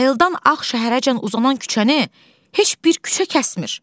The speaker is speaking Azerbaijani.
Bayıldan Ağ şəhərəcən uzanan küçəni heç bir küçə kəsmir.